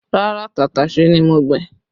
Rárá, tàtàṣé ni mo gbìn